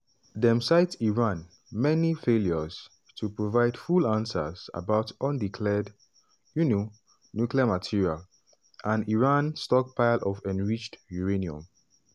dem cite iran "many failures" to provide full answers about undeclared um nuclear material and iran stockpile of enriched uranium.